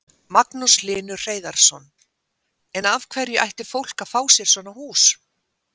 Magnús Hlynur Hreiðarsson: En af hverju ætti fólk að fá sér svona hús?